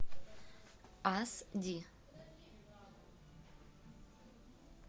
ас ди